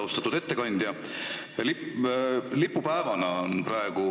Austatud ettekandja!